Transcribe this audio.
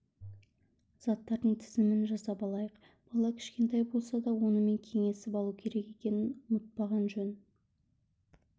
заттардың тізімін жасап алайық бала кішкентай болса да онымен кеңесіп алу керек екенін ұмытпаған жөн